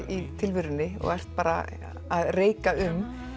í tilverunni og ert bara að reika um